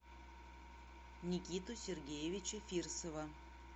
никиту сергеевича фирсова